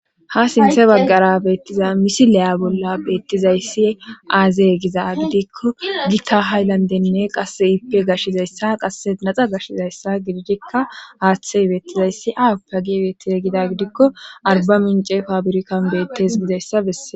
ha sinthe baggara beettiza misileya bolla beettizayssi aazey giza gidikko gita hayllandenne qasse yippe gashizayssa qasse naxa gashizayssa gidijekka haaththey beettizayssi aw pagi beettize gida gidikko arba mince fabirikan beettes gizayssabesse